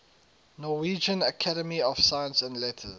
norwegian academy of science and letters